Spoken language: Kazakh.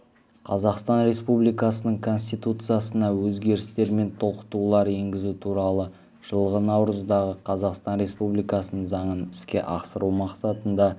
қазақстан республикасының конституциясына өзгерістер мен толықтырулар енгізу туралы жылғы наурыздағы қазақстан республикасының заңын іске асыру мақсатында